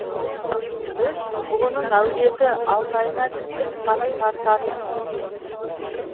біз бұғының әулеті алтайына кіндік қаны тартатын